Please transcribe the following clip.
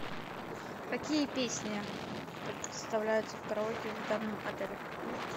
какие песни предоставляются в караоке в данном отеле